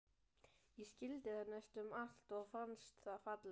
Ég skildi það næstum allt og fannst það fallegt.